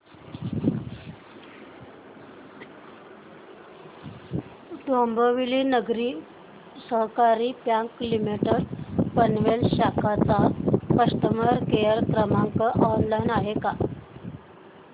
Dombivli Nagari Sahakari bank limited Panvel शाखा चा customer care क्रमांक ऑनलाइन आहे का